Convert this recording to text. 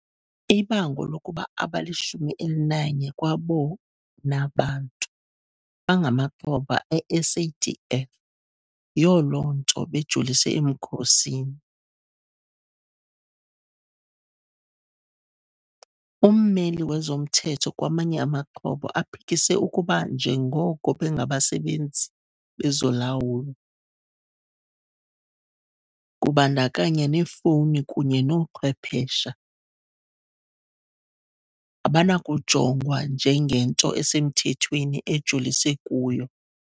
Ibango lokuba abali-11 kwabona bantu bangamaxhoba e-SADF yiyo loo nto bejolise emkhosini. Ummeli wezomthetho kwamanye amaxhoba aphikise ukuba njengoko bengabasebenzi bezolawulo, kubandakanya neefowuni kunye noochwephesha, abanakujongwa njengento esemthethweni ejolise kuyo.